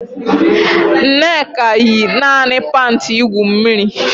Nneka yi naanị panti igwu mmiri